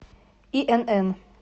инн